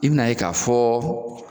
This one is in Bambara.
I bɛn'a ye k'a fɔ